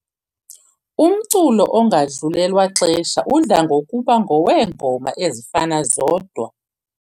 Umculo ongadlulelwa lixesha udla ngokuba ngoweengoma ezifana zodwa.